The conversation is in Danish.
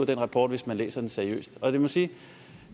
den rapport hvis man læser den seriøst og jeg må sige at